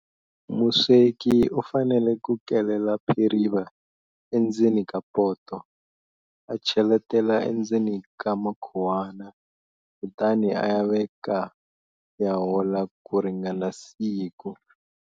Musweki u fanele ku kelela phiriva endzeni ka poto, a cheletela endzeni ka makhuwana, kutani a ya veka ya hola ku ringana siku.